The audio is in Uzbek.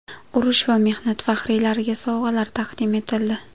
Urush va mehnat faxriylariga sovg‘alar taqdim etildi.